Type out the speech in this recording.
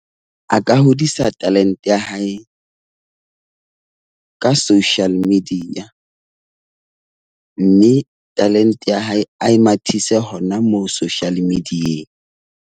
A ka hodisa talente ya hae ka social media. Mme talente ya hae a e mathise hona moo social media.